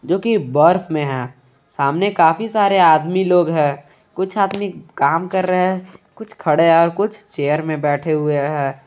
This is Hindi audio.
जो कि बर्फ में है सामने काफी सारे आदमी लोग है कुछ आदमी काम कर रहे हैं कुछ खड़े और कुछ चेयर में बैठे हुए है।